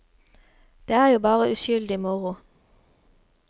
Det er jo bare uskyldig moro.